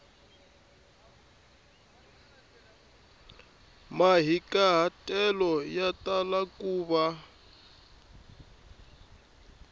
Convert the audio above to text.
mahikahatelo ya tala ku va